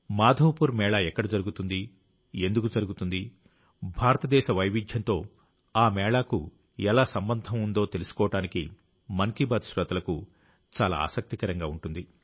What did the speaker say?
మాధవపూర్ మేళా ఎక్కడ జరుగుతుంది ఎందుకు జరుగుతుంది భారతదేశ వైవిధ్యంతో ఆ మేళాకు ఎలా సంబంధం ఉందో తెలుసుకోవడం మన్ కీ బాత్ శ్రోతలకు చాలా ఆసక్తికరంగా ఉంటుంది